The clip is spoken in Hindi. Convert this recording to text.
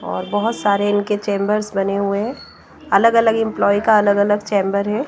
और बहुत सारे इनके चेंबर्स बने हुए हैं अलग-अलग एंप्लॉई का अलग-अलग चैम्बर है।